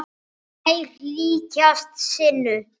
Þær líkjast sinu.